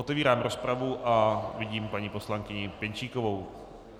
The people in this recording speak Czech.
Otevírám rozpravu a vidím paní poslankyni Pěnčíkovou.